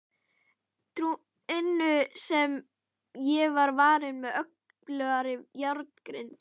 inu sem var varin með öflugri járngrind.